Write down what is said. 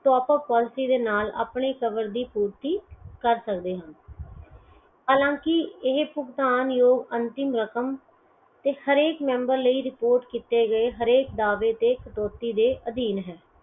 top up ਉਸ policy ਦੇ ਨਾਲ cover ਦੀ ਪੂਰਤੀ ਕਰ ਸਕਦੇ ਹਾ ਹਾਲਾ ਕਿ ਇਹ ਭੁਗਤਾਨ ਯੋਗ ਅੰਤਿਮ ਰਕਮ ਤੇ ਹਰੇਕ member ਲਈ report ਕੀਤੇ ਗਏ ਹਰੇਕ ਦਾਵੇ ਤੇ ਕਟੌਤੀ ਦੇ ਅਧੀਨ ਹੈ